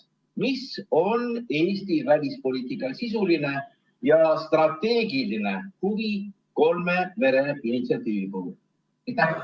Missugune on Eesti välispoliitika sisuline ja strateegiline huvi kolme mere initsiatiivi puhul?